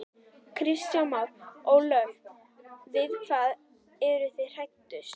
Kristján Már: Ólöf við hvað eru þið hræddust?